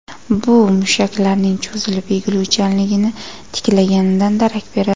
Bu mushaklarning cho‘zilib, egiluvchanligini tiklaganidan darak beradi.